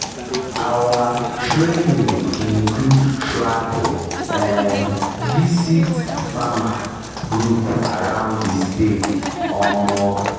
our training include travel um visit farmer group around the state um